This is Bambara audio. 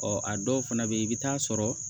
Ɔ a dɔw fana bɛ yen i bɛ taa sɔrɔ